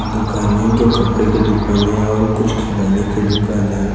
दुकान है जो कपड़ें के दुकान हैं और कुछ खिलोने के दुकान है।